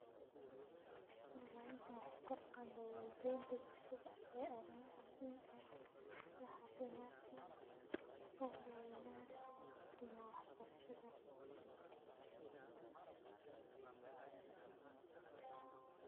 Wax u tarka bulshaada iyo cafimadka weyan sas ayey u gu muhiim san tahay bulshaada.